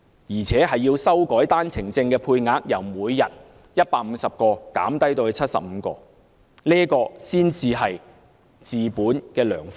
此外，政府必須修改單程證的配額，由每天150個減至75個，這才是治本的良方。